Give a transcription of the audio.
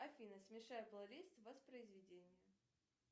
афина смешай плейлист воспроизведение